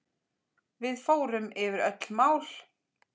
Við förum yfir öll mál.